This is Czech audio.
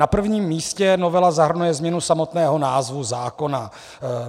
Na prvním místě novela zahrnuje změnu samotného názvu zákona.